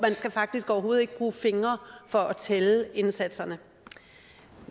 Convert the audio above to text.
skal faktisk overhovedet ikke bruge fingre for at tælle indsatserne